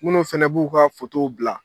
munnu fana b'u ka bila.